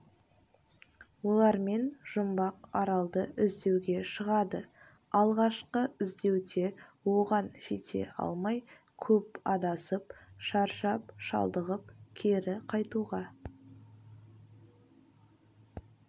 олармен жұмбақ аралды іздеуге шығады алғашқы іздеуде оған жете алмай көп адасып шаршап-шалдығып кері қайтуға